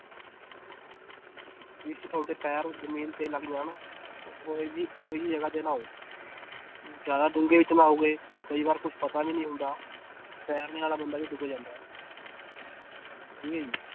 ਜਿਸ 'ਚ ਤੁਹਾਡੇ ਪੈਰ ਜ਼ਮੀਨ ਤੇ ਲੱਗ ਜਾਣ ਉਹ ਉਹ ਜਿਹੀ ਉਹ ਜਿਹੀ ਜਗ੍ਹਾ ਤੇ ਨਹਾਓ ਜ਼ਿਆਦਾ ਡੂੰਘੇ 'ਚ ਨਹਾਓਗੇ ਕਈ ਵਾਰ ਕੁਛ ਪਤਾ ਵੀ ਨੀ ਹੁੰਦਾ ਤੈਰਨੇ ਵਾਲਾ ਬੰਦਾ ਵੀ ਡੁੱਬ ਜਾਂਦਾ ਹੈ ਠੀਕ ਹੈ ਜੀ